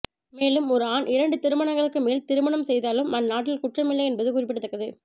மேலும் ஒரு ஆண் இரண்டு திருமணங்களுக்கு மேல் திருமணம் செய்தாலும் அந்நாட்டில் குற்றமில்லை என்பது குறிப்பிடத்தக்கது